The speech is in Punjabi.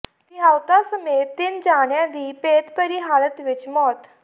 ਵਿਆਹੁਤਾ ਸਮੇਤ ਤਿੰਨ ਜਣਿਆਂ ਦੀ ਭੇਤਭਰੀ ਹਾਲਤ ਵਿੱਚ ਮੌਤ